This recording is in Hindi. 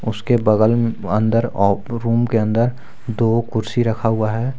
उसके बगल मे अंदर ऑ रूम के अंदर दो कुर्सी रखा हुआ है।